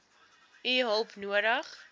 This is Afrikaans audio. u hulp nodig